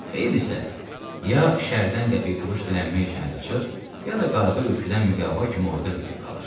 Xeyir isə, ya şərdən qəpik-quruş dilənmək üçün əl açır, ya da qarğı-üçüddən müqəvva kimi orda bitib qalır.